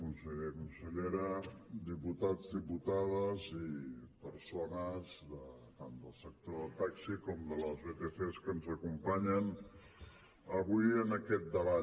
conseller consellera diputats diputades i persones tant del sector del taxi com de les vtcs que ens acompanyen avui en aquest debat